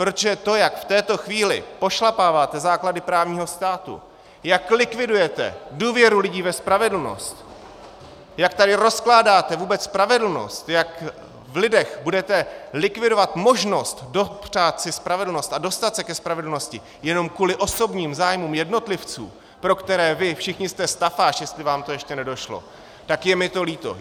Protože to, jak v této chvíli pošlapáváte základy právního státu, jak likvidujete důvěru lidí ve spravedlnost, jak tady rozkládáte vůbec spravedlnost, jak v lidech budete likvidovat možnost dopřát si spravedlnost a dostat se ke spravedlnosti jenom kvůli osobním zájmům jednotlivců, pro které vy všichni jste stafáž, jestli vám to ještě nedošlo, tak je mi to líto.